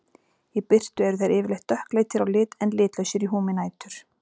Í birtu eru þeir yfirleitt dökkleitir á lit en litlausir í húmi nætur.